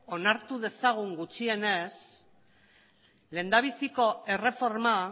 onartu dezagun gutxienez lehendabiziko erreforma